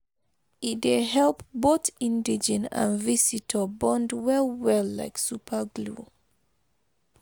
E dey help both indigene and visitor bond well well like superglue